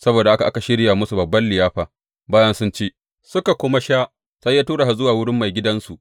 Saboda haka aka shirya musu babban liyafa, bayan sun ci, suka kuma sha, sai ya tura su zuwa wurin maigidansu.